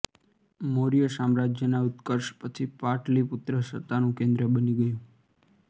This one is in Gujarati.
મૌર્ય સામ્રાજ્યના ઉત્કર્ષ પછી પાટલિપુત્ર સત્તાનું કેન્દ્ર બની ગયું